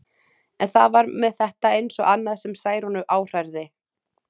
En það var með þetta eins og annað sem Særúnu áhrærði.